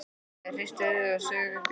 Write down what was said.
Ég hristi höfuðið og saug upp í nefið.